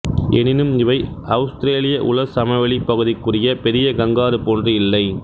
எனினும் இவை அவுஸ்திரேலிய உலர் சமவெளிப் பகுதிக்குரிய பெரிய கங்காரு போன்று இல்லை